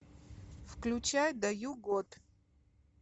включай даю год